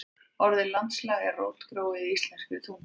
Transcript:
Orðið landslag er rótgróið í íslenskri tungu.